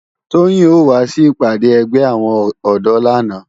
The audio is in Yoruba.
Toyin ó wá si ipàdá ègbé áwòn òdò làná